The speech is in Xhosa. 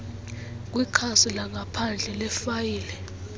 kwikhasi langaphandle lefayile